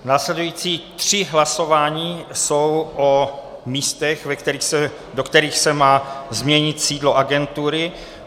Následující 3 hlasování jsou o místech, do kterých se má změnit sídlo agentury.